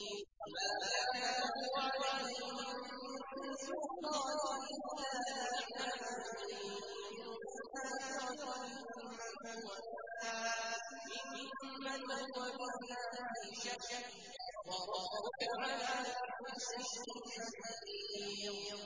وَمَا كَانَ لَهُ عَلَيْهِم مِّن سُلْطَانٍ إِلَّا لِنَعْلَمَ مَن يُؤْمِنُ بِالْآخِرَةِ مِمَّنْ هُوَ مِنْهَا فِي شَكٍّ ۗ وَرَبُّكَ عَلَىٰ كُلِّ شَيْءٍ حَفِيظٌ